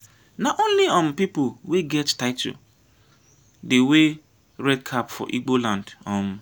na only um pipu wey get title dey wey red cap for igbo land. um